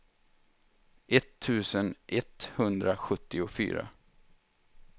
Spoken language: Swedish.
etttusen etthundrasjuttiofyra